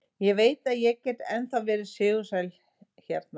Ég veit að ég get ennþá verið sigursæll hérna.